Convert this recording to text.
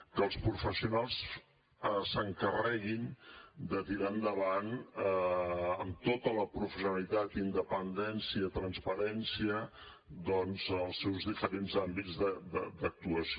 s’encarreguin de tirar endavant amb tota la professionalitat independència i transparència doncs els seus diferents àmbits d’actuació